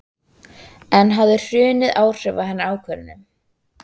En hafði hrunið áhrif á hennar ákvörðun?